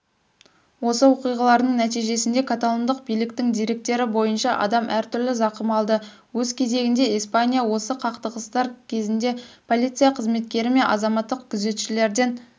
осы оқиғалардың нәтижесінде каталондық биліктің деректері бойынша адам әртүрлі зақым алды өз кезегінде испания осы қақтығыстар кезіндеполиция қызметкері мен азаматтық күзетшілерден